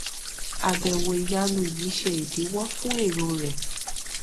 àbèwò ìyanu yìí ṣe ìdíwọ fún èrò rẹ